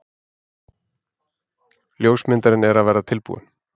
Ljósmyndarinn er að verða tilbúinn.